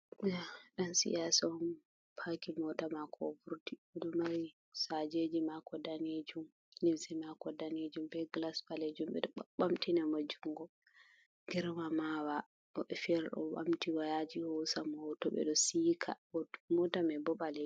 Ɗo dan siyasa on paki mota mako o vurti oɗo mari sajeji mako danejum limse mako danejum be glas ɓalejum, ɓeɗo ɓa ɓamtina mo jungo girma mawa woɓɓe fere ɗo ɓamti wayaji hosa mo hoto to ɓeɗo sika mota mai bo ɓalejum.